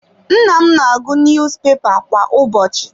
Nna m na-agụ niyuzupepa kwa ụbọchị.